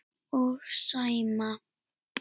Og Sæma.